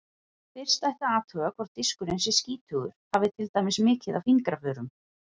Fyrst ætti að athuga hvort diskurinn sé skítugur, hafi til dæmis mikið af fingraförum.